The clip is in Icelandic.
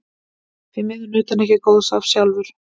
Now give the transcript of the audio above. Því miður naut hann ekki góðs af því sjálfur.